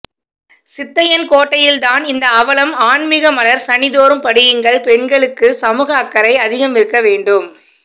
சித்தையன்கோட்டையில்தான் இந்த அவலம் ஆன்மிக மலர் சனிதோறும் படியுங்கள் பெண்களுக்கு சமூக அக்கறை அதிகமிருக்க வேண்டும்